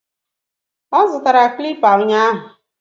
Ọ zụtara clipper ụnyahụ